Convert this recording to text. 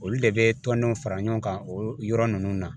Olu de bɛ tɔndenw fara ɲɔgɔn kan o yɔrɔ ninnu na